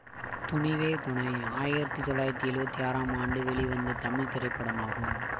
துணிவே துணை ஆயிரத்தி தொள்ளாயிரத்தி எழுவத்தி ஆறாம் ஆண்டு வெளிவந்த தமிழ் திரைப்படமாகும்